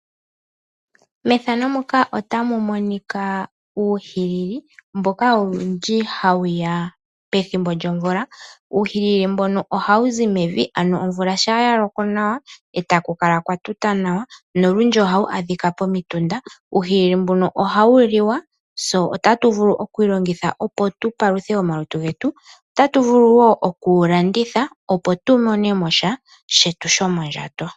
Methano muka otamu monika uuhilili mboka owundji hawu ya pethimbo lyomvula. Uuhilili mbono ohawu zi mevi ano omvula shaa yaloko nawa etaku kala kwa tuta nawa. Nolundji ohawu adhika pomitunda. Uuhilili mbuno ohawu liwa tse otatu vulu okwi longitha opo tu paluthe omalutu getu. Otatu vulu wo oku wu landitha opo tu mone mosha shetu shomondjato.